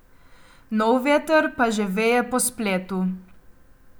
Nov veter pa že veje po spletu.